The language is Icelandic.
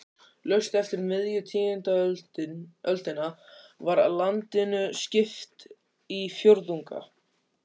Laust eftir miðja tíundu öldina var landinu skipt í fjórðunga.